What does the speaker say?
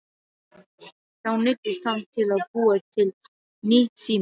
Þá neyddist hann til að búa til nýtt símanúmer.